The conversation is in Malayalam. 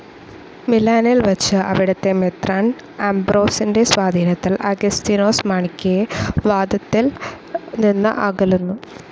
മിലാനിൽ വച്ചു, അവിടത്തെ മെത്രാൻ അംബ്രോസിൻ്റെ സ്വാധീനത്തിൽ അഗസ്തിനോസ് മാണിക്കയെ വാദത്തിൽ നിന്ന് അകലുന്നു.